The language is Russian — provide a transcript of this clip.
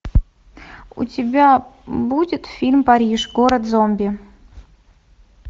у тебя будет фильм париж город зомби